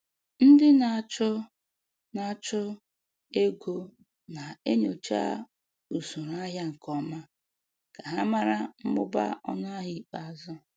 Ndị na-achụ na-achụ ego na-enyocha usoro ahịa nke ọma ka ha mara mmụba ọnụahịa ikpeazụ.